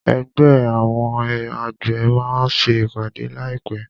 Ẹgbẹ́ àwọn àgbẹ̀ máa ṣe ìpàdé láì pé.